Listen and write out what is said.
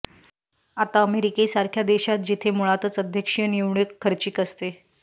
आता अमेरिकेसारख्या देशात जिथे मुळातच अध्यक्षीय निवडणूक खर्चिक असते